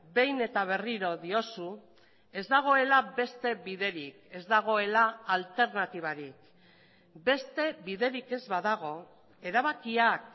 behin eta berriro diozu ez dagoela beste biderik ez dagoela alternatibarik beste biderik ez badago erabakiak